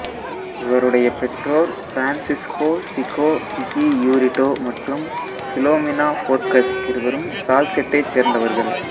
இவருடைய பெற்றோர் பிரான்சிஸ்கோ சிகோ பிகியூரிடோ மற்றும் பிலோமினா போர்கஸ் இருவரும் சால்செட்டைச் சேர்ந்தவர்கள்